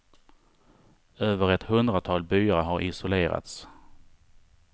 Över ett hundratal byar har isolerats.